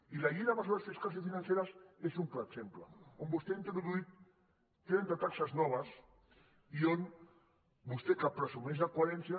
i la llei de mesures fiscals i financeres és un clar exemple on vostè ha introduït trenta taxes noves i on vostè que presumeix que coherència